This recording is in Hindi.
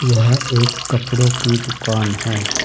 यह एक कपड़ों की दुकान है।